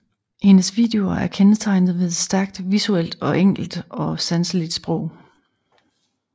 Hendes videoer er kendetegnet ved et stærkt visuelt og enkelt og sanseligt sprog